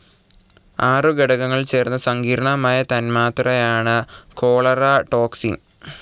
ആറു ഘടകങ്ങൾ ചേർന്ന സങ്കീർണ്ണമായ തന്മാത്രയാണ് ചോലേര ടോക്സിൻ.